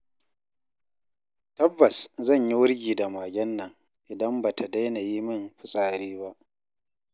Tabbas zan yi wurgi da magen nan idan ba ta daina yi min fitsari ba.